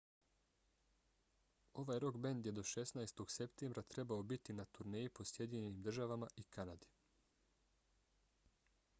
ovaj rok bend je do 16. septembra trebao biti na turneji po sjedinjenim državama i kanadi